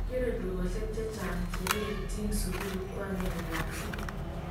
kikerei dukosiek che chang che lekitjini sukul ko agenge kasi